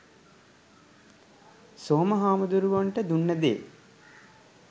සෝම හමුදුරුවොන්ට දුන්නේ දේ